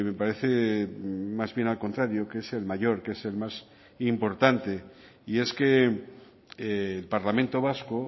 parece más bien al contrario que es el mayor que es el más importante y es que el parlamento vasco